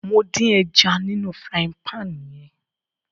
Mo dín ẹja nínú frying pan yẹn